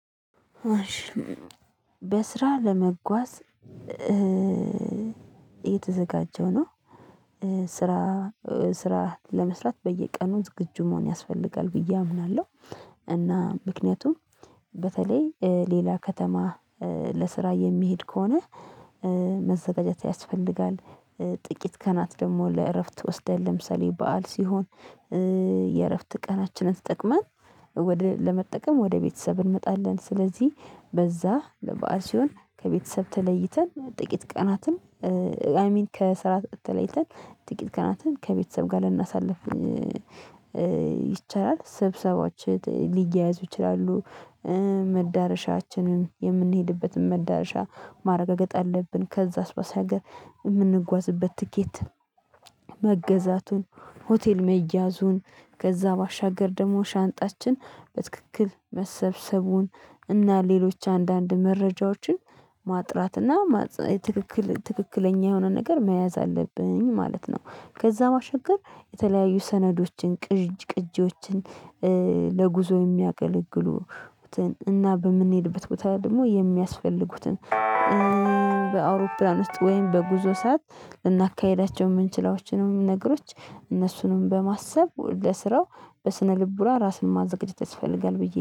በስራ ለመጓዝ እየተዘጋጀው ነው። ስራ ስራ ለመስራት በየቀኑ ዝግጁ መሆን ያስፈልጋል ብዬ አምናለሁ። እና ምክንያቱም በተለይ ሌላ ከተማ ለስራ የሚሄድ ከሆነ መዘጋጀት ያስፈልጋል። ጥቂት ቃናት ደግሞ ለእረፍት ወስደን ለምሳሌ በዓል ሲሆን። የእረፍት ቀናችንን ተጠቅመን ወደ ለመጠቀም ወደ ቤተሰብ እንመጣለን ስለዚህ በዛ ለበአል ሲሆን ከቤተሰብ ተለይተን ጥቂት ቀናትን አይ ሚን ከስራ ተለይተን ጥቂት ቀናትን ከቤተሰብ ጋር ልናሳልፍ ይቻላል። ስብሰባዎች ሊያያዙ ይችላሉ። መዳረሻችንን የምንሄድበትን መዳረሻ ማረጋገጥ አለብን። ከዛ ባሻገር ሀገር የምንጓዝበት ትኬት መገዛቱን ሆቴል መያዙን ከዛ ባሻገር ደግሞ ሻንጣችን በትክክል መሰብሰቡን እና ሌሎች አንዳንድ መረጃዎችን ማጥራት እና ትክክል ትክክለኛ የሆነ ነገር መያዝ አለብኝ ማለት ነው። ከዛ ማሸገር የተለያዩ ሰነዶችን ቅጅ ቅጂዎችን ለጉዞ የሚያገለግሉትን እና በምንሄድበት ቦታ ደግሞ የሚያስፈልጉትን። በአውሮፕላን ውስጥ ወይም በጉዞ ሰዓት ልናካሂዳቸው የምንችላዎችንም ነገሮች እነሱንም በማሰብ ለስራው በስነ ልቦና ራስን ማዘገጀት ያስፈልጋል ብዬ